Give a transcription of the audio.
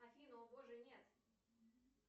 афина о боже нет